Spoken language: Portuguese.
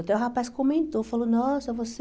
Até o rapaz comentou, falou, nossa, você...